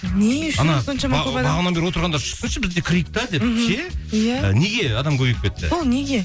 бағанадан бері отырғандар шықсыншы біз де кірейік те деп ше иә неге адам көбейіп кетті бұл неге